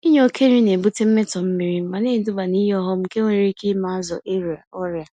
Inye oke nri na-ebute mmetọ mmiri ma neduba n'ihe ọghọm nke nwere ike ime azụ ịrịa ọrịa.